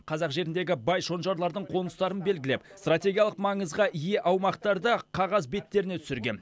қазақ жеріндегі бай шонжарлардың қоныстарын белгілеп стратегиялық маңызға ие аумақтарды қағаз беттеріне түсірген